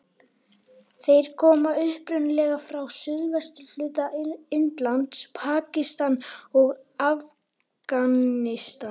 Þeir koma upprunalega frá suðvesturhluta Indlands, Pakistan og Afganistan.